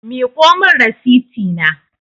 Miƙo min rasiti na